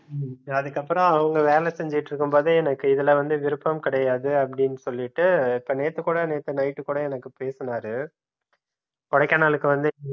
அதுக்கப்புறம் அவங்க வேலை செஞ்சிட்டு இருக்கும் போதே எனக்கு இதுல வந்து விருப்பம் கிடையாது அப்டின்னு சொல்லிட்டு நேத்து கூட நேத்து night கூட எனக்கு பேசினார கொடைக்கானலுக்கு வந்து